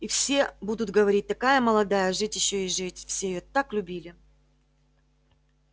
и все будут говорить такая молодая жить ещё и жить все её так любили